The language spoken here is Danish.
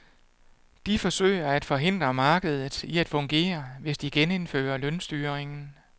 De forsøger at forhindre markedet i at fungere, hvis de genindfører lønstyringen.